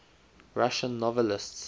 russian novelists